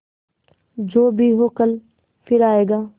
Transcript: जो भी हो कल फिर आएगा